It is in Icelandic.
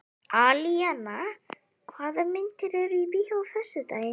Alíana, hvaða myndir eru í bíó á föstudaginn?